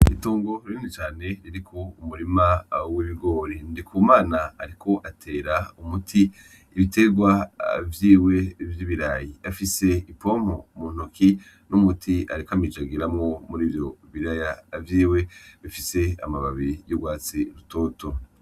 Itongo rinini cane ririko umurima w’ibigori. Ndikumana ariko atera umuti ibiterwa vyiwe vy’ibirayi , afise ipompo mu ntoke n’umuti ariko amijagiramwo muri ivyo biraya vyiwe bifise amababi y’urwatsi rutoto.